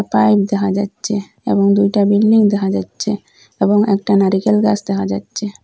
Pipe দেহা যাচ্ছে এবং দুইটা বিল্ডিং দেহা যাচ্ছে এবং একটা নারিকেল গাস দেহা যাচ্ছে।